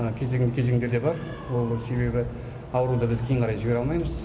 кезең кезеңдер де бар ол себебі ауруды біз кейін қарай жібере алмаймыз